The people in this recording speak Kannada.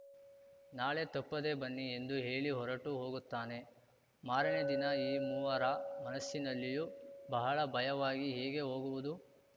ನಾಳೆ ತಪ್ಪದೆ ಬನ್ನಿ ಎಂದು ಹೇಳಿ ಹೊರಟು ಹೋಗುತ್ತಾನೆ ಮಾರನೆ ದಿನ ಈ ಮೂವರ ಮನಸ್ಸಿನಲ್ಲಿಯೂ ಬಹಳ ಭಯವಾಗಿ ಹೇಗೆ ಹೋಗುವುದು